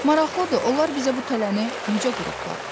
Maraqlıdır, onlar bizə bu tələni necə qurublar?